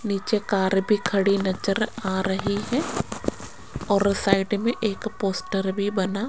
नीचे कार भी खड़ी नज़र आ रही है और साइड मे एक पोस्टर भी बना --